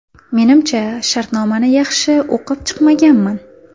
Menimcha, shartnomani yaxshi o‘qib chiqmaganman.